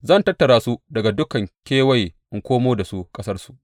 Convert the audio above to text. Zan tattara su daga dukan kewaye in komo da su ƙasarsu.